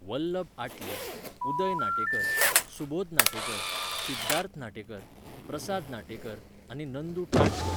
वल्लब आटले, उदय नाटेकर, सुबोध नाटेकर, सिध्दार्थ नाटेकर, प्रसाद नाटेकर आनी नंदू टाटकर